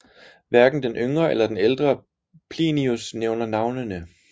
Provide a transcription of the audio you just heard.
Hverken den yngre eller den ældre Plinius nævner navnene